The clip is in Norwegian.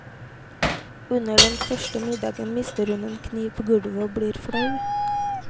Under den første middagen mister hun en kniv på gulvet og blir flau.